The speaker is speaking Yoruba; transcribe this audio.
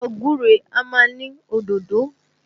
Ẹ̀fọ́ gúre a máa ní òdòdó